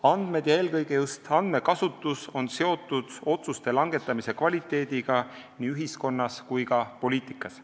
Andmed ja eelkõige just andmekasutus on seotud otsuste langetamise kvaliteediga nii ühiskonnas kui ka poliitikas.